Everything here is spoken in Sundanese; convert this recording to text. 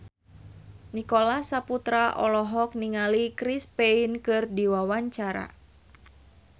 Nicholas Saputra olohok ningali Chris Pane keur diwawancara